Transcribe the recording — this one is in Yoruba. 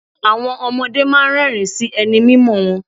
Àwọn ọmọdé máa ń rẹ́ẹ̀rín sí ẹni mímọ̀ wọn.